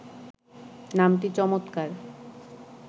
নামটি চমৎকার